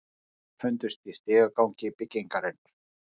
Lík þeirra fundust í stigagangi byggingarinnar